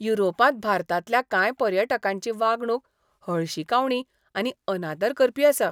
युरोपांत भारतांतल्या कांय पर्यटकांची वागणूक हळशिकावणी आनी अनादर करपी आसा.